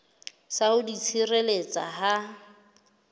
sa ho di tshireletsa ha